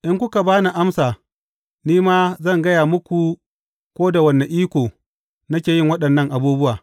In kuka ba ni amsa, ni ma zan gaya muku ko da wane iko nake yin waɗannan abubuwa.